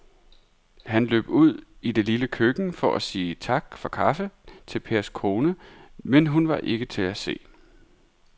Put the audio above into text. Han løb ud i det lille køkken for at sige tak for kaffe til Pers kone, men hun var ikke til at se.